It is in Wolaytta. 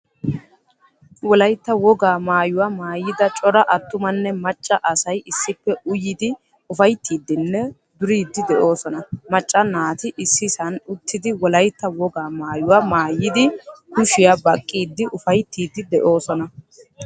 Wolaytta wogaa maayuwaa maayida cora attumanne macca asay issippe uyyidi ufayttidine duridi deosona. Macca naati issisan uttidi wolaytta wogaa maayuwaa maayidi kushiya baqqidi ufayttidi de'osona.